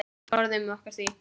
Forðum okkur því.